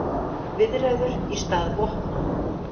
Hljóðnemi breytir líka hljóði í rafstraum.